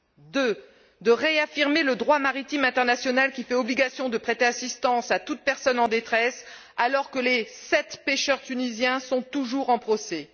deuxièmement, de réaffirmer le droit maritime international qui fait obligation de prêter assistance à toute personne en détresse, alors que les sept pêcheurs tunisiens sont toujours en procès